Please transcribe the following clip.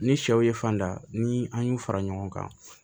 Ni sɛw ye fanda ni an y'u fara ɲɔgɔn kan